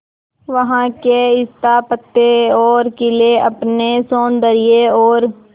वहां के स्थापत्य और किले अपने सौंदर्य और